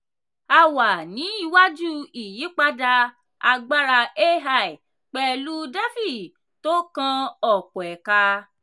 a wà ní iwájú ìyípadà agbára ai pẹ̀lú defi tó kan ọ̀pọ̀ ẹ̀ka.